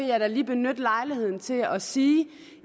jeg da lige benytte lejligheden til at sige